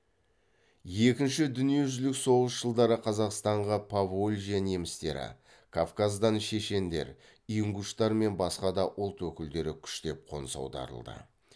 екінші дүниежүзілік соғыс жылдары қазақстанға поволжья немістері кавказдан шешендер ингуштар мен басқа да ұлт өкілдері күштеп қоныс аударылды